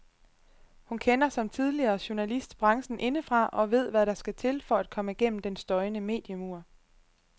Hun kender, som tidligere journalist, branchen indefra og ved hvad der skal til for at komme gennem den støjende mediemur.